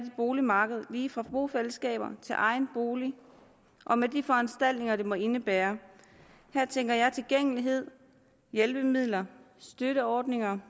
boligmarked lige fra bofællesskaber til egen bolig og med de foranstaltninger det måtte indebære her tænker jeg på tilgængelighed hjælpemidler støtteordninger